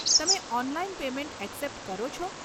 તમે online payment accept કરો છો?